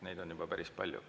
Neid on juba päris palju.